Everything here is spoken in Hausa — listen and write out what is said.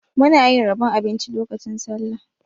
Muna yin rabon abinci lokacin Sallah.